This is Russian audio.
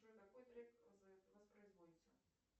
джой какой трек воспроизводится